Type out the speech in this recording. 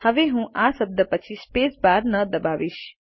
હવે હું આ શબ્દ પછી સ્પેસ બાર ન દબાવીશ